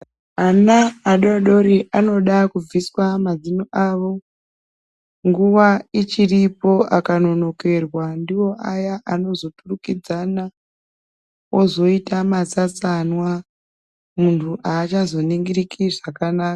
Ana adodori anoda kubviswa mazino avo nguwa ichiripo akanonokerwa ndiwo aya anozoturukidzana ozoita masasanwa muntu achazoningiriki zvakanaka.